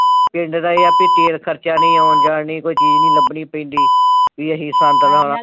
ਪਿੰਡ ਦਾ ਏਹ ਐ ਵੀ ਤੇਲ ਖਰਚਾ ਨੀ, ਆਉਣ ਜਾਣ ਨੀ, ਕੋਈ ਚੀਜ਼ ਨੀ ਲੱਭਣੀ ਪੈਂਦੀ ਵੀ ਆ ਅਸੀਂ ਸੰਦ ਲਾ